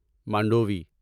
Mandvi